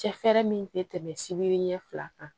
Cɛ fɛɛrɛ min tɛ tɛmɛ sibiri ɲɛ fila kan